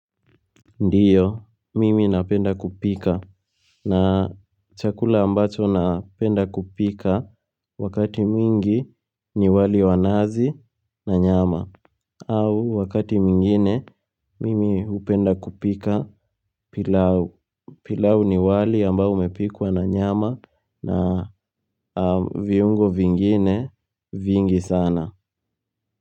Ndiyo mimi napenda kupika na chakula ambacho napenda kupika wakati mwingi ni wali wa nazi na nyama au wakati mwingine mimi hupenda kupika pilau pilau ni wali ambao umepikwa na nyama na viungo vingine vingi sana.